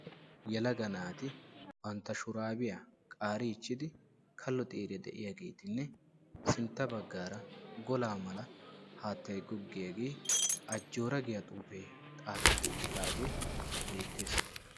yelaga naati bantta shuraabiya qaarichchidi kallo xiire de'iyaagetiinne sintta baggara golla mala haatay googiyaage Ajjoora xuufe xaafeti uttidaage beettees.